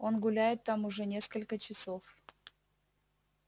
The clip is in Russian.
он гуляет там уже несколько часов